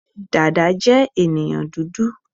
Dada je ènìyàn dúdú